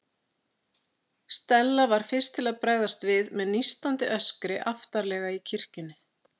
Stella var fyrst til að bregðast við, með nístandi öskri aftarlega í kirkjunni.